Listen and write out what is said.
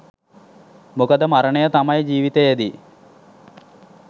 මොකද මරණය තමයි ජීවිතයෙදි